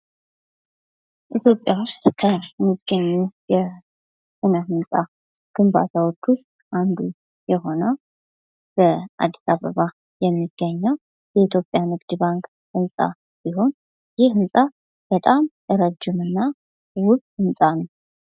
ኢትዮጵያ ውስጥ ከሚገኙ አሁን ሁኔታ ግንባታዎች ውስጥ አንዱ የሆነው በአዲስ አበባ የሚገኘው የኢትዮጵያ ንግድ ባንክ ህንፃ ሲሆን ይህ ህንፃ በጣም ረጅም እና ውብ ህንፃ ነው።